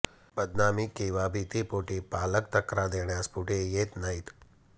बदनामी किंवा भीतीपोटी पालक तक्रार देण्यास पुढे येत नाहीत